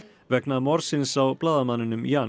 vegna morðsins á blaðamanninum Jan